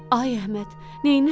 Ay Əhməd, neynirsən?